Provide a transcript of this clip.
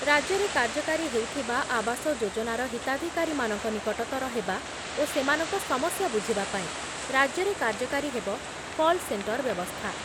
ରାଜ୍ୟରେ କାର୍ଯ୍ୟକାରୀ ହେଉଥିବା ଆବାସ ଯୋଜନାର ହିତାଧିକାରୀମାନଙ୍କ ନିକଟତର ହେବା ଓ ସେମାନଙ୍କ ସମସ୍ୟା ବୁଝିବା ପାଇଁ ରାଜ୍ୟରେ କାର୍ଯ୍ୟକାରୀ ହେବ କଲ୍ ସେଣ୍ଟର ବ୍ୟବସ୍ଥା